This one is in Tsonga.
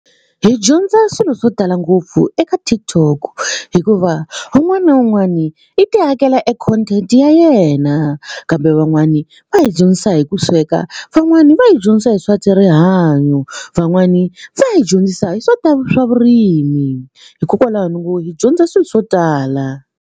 Hi dyondza swilo swo tala ngopfu eka TikTok hikuva un'wani na un'wani i ti akela e content ya yena kambe van'wani va hi dyondzisa hi ku sweka van'wani va hi dyondzisa hi swa rihanyo van'wani va hi dyondzisa hi swa ta swa vurimi hikokwalaho ni ngo hi dyondza swilo swo tala.